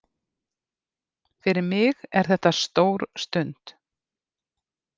Fyrir mig er þetta stór stund